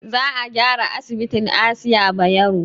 Za a gyara asibitin asiya bayero